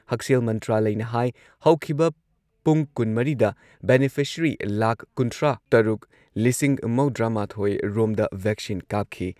ꯍꯛꯁꯦꯜ ꯃꯟꯇ꯭ꯔꯥꯂꯢꯅ ꯍꯥꯏ ꯍꯧꯈꯤꯕ ꯄꯨꯡ ꯀꯨꯟꯃꯔꯤꯗ ꯕꯦꯅꯤꯐꯤꯁꯔꯤ ꯂꯥꯈ ꯀꯨꯟꯊ꯭ꯔꯥꯇꯔꯨꯛ ꯂꯤꯁꯤꯡ ꯃꯧꯗ꯭ꯔꯥꯃꯥꯊꯣꯏꯔꯣꯝꯗ ꯚꯦꯛꯁꯤꯟ ꯀꯥꯞꯈꯤ꯫